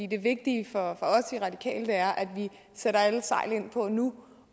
det vigtige for os i radikale er at vi sætter alle sejl til for nu